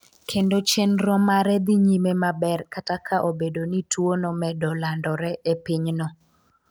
kendo chenro mare dhi nyime maber kata ka obedo ni tuwo no medo landore e piny no